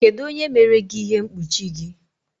Kedu onye mere gị ihe mkpuchi gị?